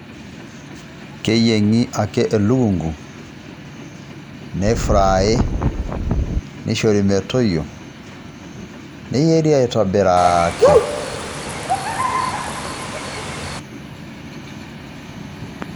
Keyieng'i ake elukunku, neifrai, neishori metoyio, neyierri aitobiraaki.